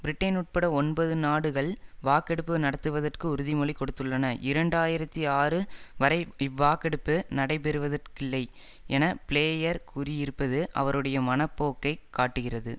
Britain உட்பட ஒன்பது நாடுகள் வாக்கெடுப்பு நடத்துவதற்கு உறுதிமொழி கொடுத்துள்ளன இரண்டாயிரத்தி ஆறு வரை இவ்வாக்கெடுப்பு நடைபெறுவதற்கில்லை என பிளேயர் கூறியிருப்பது அவருடைய மன போக்கை காட்டுகிறது